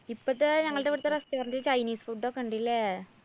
ഇപ്പത്തെ ഞങ്ങള്‍ടെ ഇവിടത്തെ restaurant chinese food ഒക്കെണ്ട് ഇല്ലേ?